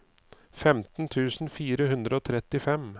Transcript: femten tusen fire hundre og trettifem